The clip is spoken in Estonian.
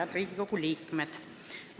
Head Riigikogu liikmed!